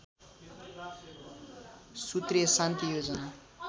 सूत्रीय शान्ति योजना